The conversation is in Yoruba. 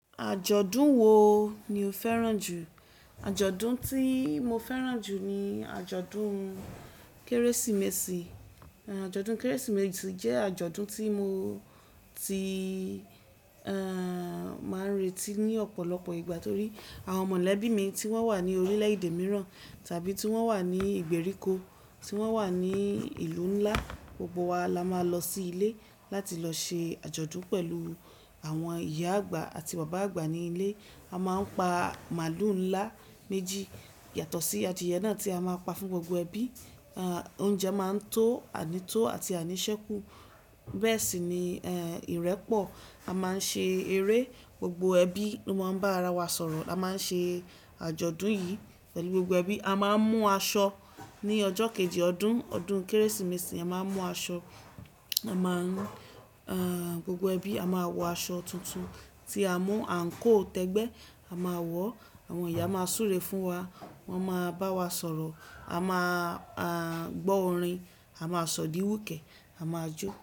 Àjọ̀dún wo ni o fẹ́ràn jù? Àjọ̀dún tí mo fẹ́ràn jù ni àjọ̀dún Kérésìmesì. Àjọ̀dún Kérésìmesì jẹ́ àjọ̀dún tí mo ti, eh, máa ń retí ní ọ̀pọ̀lọpọ̀ ìgbà torí àwọn mọ̀lẹ́bí mi tí wọ́n wà ní orílẹ̀-èdè mìíràn tàbí tí wọ́n wà ní ìgbèríko, tí wọ́n wà ní ìlú ńlá, gbogbo wa la máa lọ sí ilé láti lọ ṣe àjọ̀dún pẹ̀lú àwọn ìyá àgbà àti bàbá àgbà ní ilé. A máa ń pa màálù ńlá méjì yàtọ̀ sí adìẹ náà tí a máa ń pa fún gbogbo ẹbí. Eh, oúnjẹ máa ń tó, àní tó àti àní sẹ́kù. Bẹ́ẹ̀ sì ni, eh, ìrẹ́pọ̀. A máa ń ṣe eré, gbogbo ẹbí ló máa ń bá ara wa sọ̀rọ̀. A máa ń ṣe àjọ̀dún yìí pẹ̀lú gbogbo ẹbí. A máa ń mú aṣọ ní ọjọ́ kejì ọdún, ọdún Kérésìmesì. A máa n mú aṣọ, a máa ń, eh, gbogbo ẹbí a máa wọ aṣọ tuntun tí a mú àǹkóò tẹ́gbẹ́. A máa wọ̀, àwọn ìyá máa súre fún wa, wọ́n máa bá wa sọ̀rọ̀, a máa, a máa gbọ́ orin, a máa sọ di wúké, a máa jó.